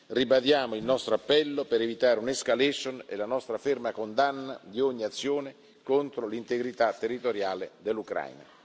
Ribadiamo il nostro appello per evitare un' escalation e la nostra ferma condanna di ogni azione contro l'integrità territoriale dell'Ucraina.